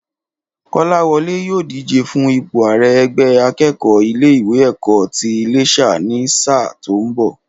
Kọ́láwọlé yóò díje fún ipò àrẹ ẹgbẹ́ akẹ́kọ̀ọ́ ilé ìwé ẹ̀kọ́ ti Iléṣà ní sáà tó ń bọ̀